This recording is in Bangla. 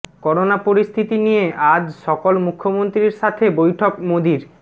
করোনা পরিস্থিতি নিয়ে আজ সকল মুখ্যমন্ত্রীর সাথে বৈঠক মোদির